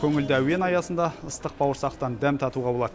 көңілді әуен аясында ыстық бауырсақтан дәм татуға болады